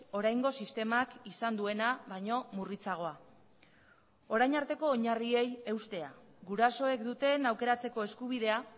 oraingo sistemak izan duena baino murritzagoa orain arteko oinarriei eustea gurasoek duten aukeratzeko eskubidea